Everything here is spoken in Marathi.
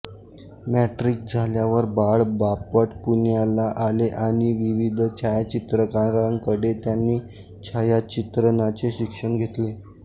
मॅट्रिक झाल्यावर बाळ बापट पुण्याला आले आणि विविध छायाचित्रकारांकडे त्यानी छायाचित्रणाचे शिक्षण घेतले